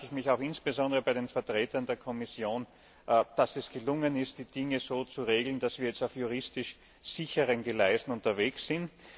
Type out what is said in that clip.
Ich bedanke ich mich insbesondere bei den Vertretern der Kommission, dass es gelungen ist, die Dinge so zu regeln, dass wir jetzt auf juristisch sicheren Gleisen unterwegs sind.